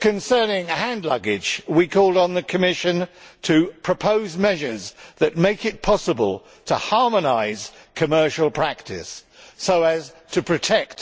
Concerning hand luggage, we called on the Commission to propose measures which make it possible to harmonise commercial practice so as to protect